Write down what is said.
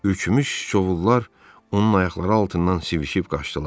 Ürkümüş siçovullar onun ayaqları altından sivişib qaçdılar.